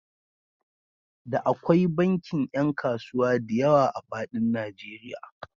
Da akwai bankin ƴan kasuwa diyawa a faɗin Najeriya.